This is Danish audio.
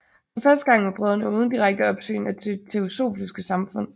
For første gang var brødrene uden direkte opsyn af det Teosofiske Samfund